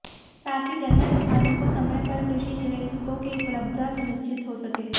साथ ही गन्ना किसानों को समय पर कृषि निवेशों की उपलब्धता सुनिश्चित हो सके